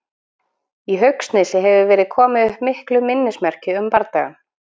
Í Haugsnesi hefur verið komið upp miklu minnismerki um bardagann.